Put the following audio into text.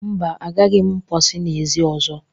Mba, agaghi m mposi n'ezi ọzọ.